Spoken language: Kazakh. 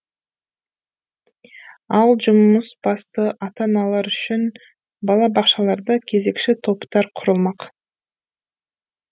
ал жұмысбасты ата аналар үшін балабақшаларда кезекші топтар құрылмақ